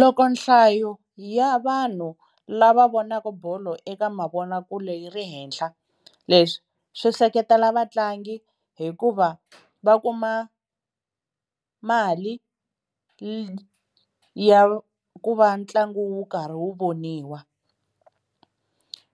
Loko nhlayo ya vanhu lava vonaka bolo eka mavonakule yi ri henhla leswi swi seketela vatlangi hikuva va kuma mali ya ku va ntlangu wu karhi wu voniwa.